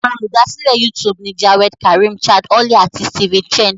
Àwọn Olùdásílẹ̀ YouTube ni Jawed Karim, Chad Hurley, àti Steven Chen.